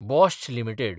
Bosch limited